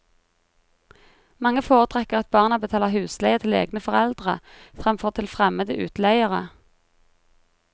Mange foretrekker at barna betaler husleie til egne foreldre fremfor til fremmede utleiere.